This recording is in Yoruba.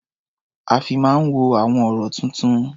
A fi máa ń wo àwọn ọ̀rọ̀-tuntun.